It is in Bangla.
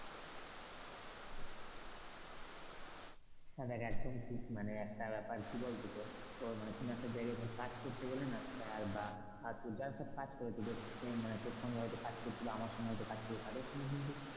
হ্যাঁ একদম ঠিক মানে একটা ব্যাপার কি বলতো তোর মানে কোন একটা জায়গায় কাজ করতে গেলে না স্যার বা যারা সব কাজ করে, বা তোর সঙ্গে কাজ করছে, আমার সঙ্গে কাজ করছে তাদের সঙ্গে কিন্তু,